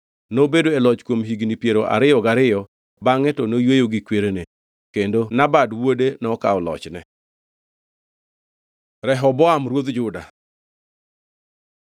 Nobedo e loch kuom higni piero ariyo gariyo bangʼe to noyweyo gi kwerene. Kendo Nabad wuode nokawo lochne. Rehoboam ruodh Juda